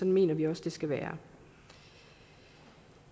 mener vi også det skal være